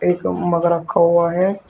एक मग रखा हुआ है।